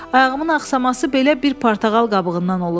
Ayağımın axsaması belə bir portağal qabığından olub.